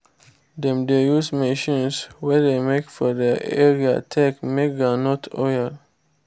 dem dey use machines wey de make for their area take make groundnut oil